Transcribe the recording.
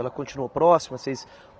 Ela continuou próxima? Vocês